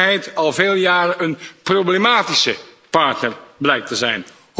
in werkelijkheid al vele jaren een problematische partner blijkt te zijn.